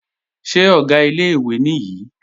Ṣé Ọ̀gá ilé-ìwé nìyí?